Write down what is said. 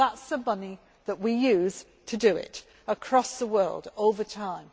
of Libya. Well, that is some money that we use to do it across the world over